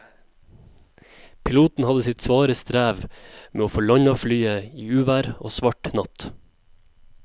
Piloten hadde sitt svare strev med å få landet flyet i uvær og svart natt.